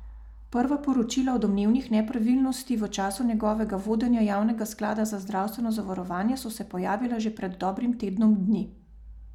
Prva poročila o domnevnih nepravilnosti v času njegovega vodenja javnega sklada za zdravstveno zavarovanje so se pojavila že pred dobrim tednom dni.